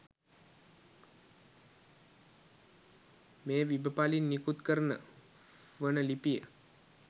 මේ විබ පළින් නිකුත් කරන වන ලිපිය